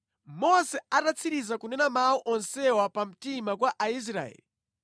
Mose atatsiriza kunena mawu onsewa pamtima kwa Aisraeli,